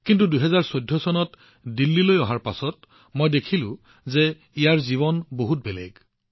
কিন্তু ২০১৪ চনত দিল্লীলৈ অহাৰ পিছত মই দেখিছিলো যে ইয়াত জীৱন বহুত বেলেগ আছিল